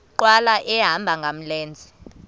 nkqwala ehamba ngamlenze